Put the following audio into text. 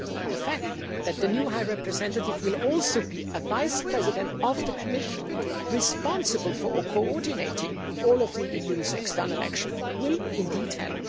The fact that the new High Representative will also be a Vice President of the Commission, responsible for coordinating all of the EU's external action, will help.